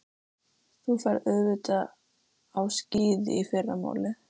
Þú ferð auðvitað á skíði í fyrramálið.